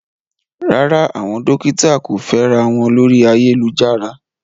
Rárá, àwọn dókítà kò fẹ́ra wọn lórí ayélujára.